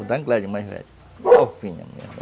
mais velha